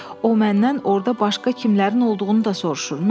O məndən orda başqa kimlərin olduğunu da soruşur.